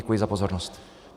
Děkuji za pozornost.